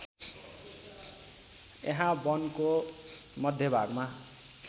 यहा वनको मध्यभागमा